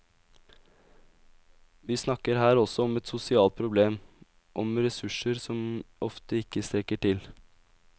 Vi snakker her også om et sosialt problem, om ressurser som ofte ikke strekker til.